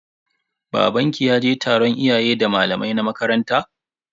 Babanki ya je taron iyayen da malamai na makaranta?